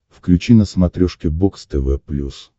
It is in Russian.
включи на смотрешке бокс тв плюс